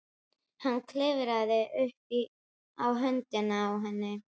Hann klifrar upp á höndina á henni.